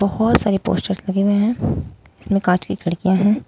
बहोत सारे पोस्टर्स लगे हुए हैं इसमें कांच की खिड़कियां हैं।